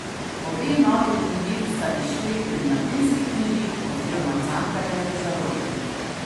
Obe novi knjigi sta izšli pri Mladinski knjigi oziroma Cankarjevi založbi.